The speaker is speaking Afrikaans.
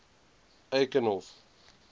eikenhof